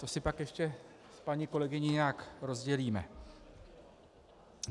To si pak ještě s paní kolegyní nějak rozdělíme.